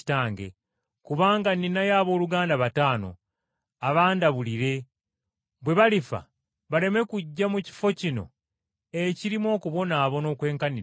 kubanga nninayo abooluganda bataano, abandabulire, bwe balifa baleme kujja mu kifo kino ekirimu okubonaabona okwenkanidde wano.’